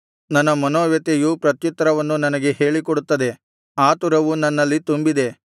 ನನ್ನ ಮನೋವ್ಯಥೆಯು ಪ್ರತ್ಯುತ್ತರವನ್ನು ನನಗೆ ಹೇಳಿಕೊಡುತ್ತದೆ ಆತುರವು ನನ್ನಲ್ಲಿ ತುಂಬಿದೆ